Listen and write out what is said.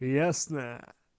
ясно